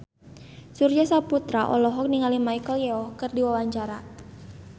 Surya Saputra olohok ningali Michelle Yeoh keur diwawancara